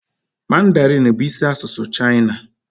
Mandarinee bụ isi asụsụ China.